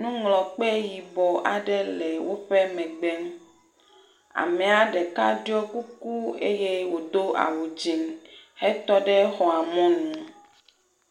nuŋlɔkpe yibɔ aɖe le woƒe megbe. Amea ɖeka ɖɔ kuku eye wodo awu dzi hetɔ ɖe xɔa mɔnu.